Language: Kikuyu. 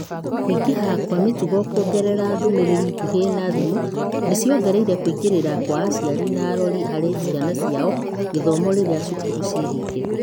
Kũingĩha kwa mĩtugo kũgerera ndũmĩrĩri ngũhĩ na thimũ nĩ ciongereire kũingĩrĩra kwa aciari na arori harĩ ciana ciao gũthoma rĩrĩa thukuru ciĩhinge.